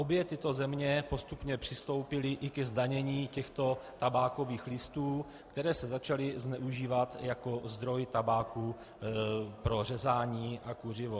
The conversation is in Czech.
Obě tyto země postupně přistoupily i ke zdanění těchto tabákových listů, které se začaly zneužívat jako zdroj tabáku pro řezání na kuřivo.